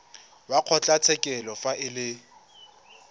wa kgotlatshekelo fa e le